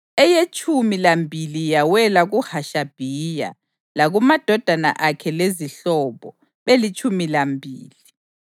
eyetshumi lambili yawela kuHashabhiya, lakumadodana akhe lezihlobo, belitshumi lambili;